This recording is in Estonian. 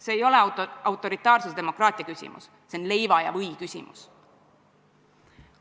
See ei ole autoritaarse demokraatia küsimus, see on leiva ja või küsimus.